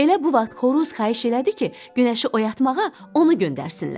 Elə bu vaxt xoruz xahiş elədi ki, günəşi oyatmağa onu göndərsinlər.